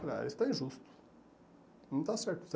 Falei, ah isso está injusto, não está certo.